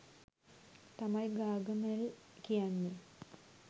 තමයි ගාගමෙල් කියන්නේ.